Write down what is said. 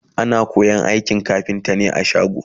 ana koyan aikin kafinta ne a shago